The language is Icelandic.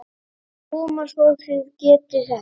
Koma svo, þið getið þetta!